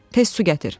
tez su gətir!